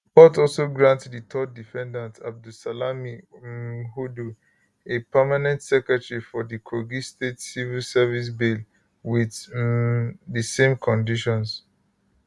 court also grant di 3rd defendant abdulsalami um hudu a permanent secretary for di kogi state civil service bail with um di same conditions